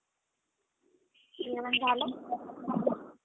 जेवण झालं?